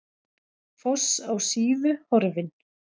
Foss á Síðu horfinn